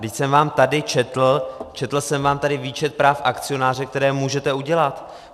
Vždyť jsem vám tady četl, četl jsem vám tady výčet práv akcionáře, která můžete udělat.